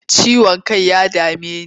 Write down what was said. Ciwon kai ya dame ni.